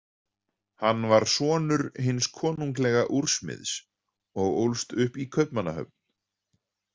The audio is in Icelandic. Hann var sonur hins konunglega úrsmiðs og ólst upp í Kaupmannahöfn.